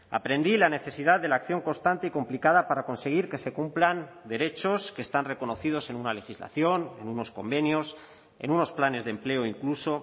aprendí la necesidad de la acción constante y complicada para conseguir que se cumplan derechos que están reconocidos en una legislación en unos convenios en unos planes de empleo incluso